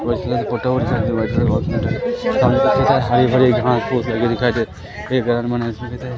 बहुत सारी फोटो हरी भरी घास फूस है ये दिखाई दे